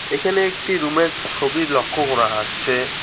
এইখানে একটি রুম -এর ছবি লক্ষ করা যাচ্ছে।